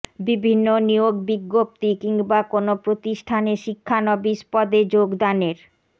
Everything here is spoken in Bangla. বিভিন্ন নিয়োগ বিজ্ঞপ্তি কিংবা কোনো প্রতিষ্ঠানে শিক্ষানবিশ পদে যোগদানের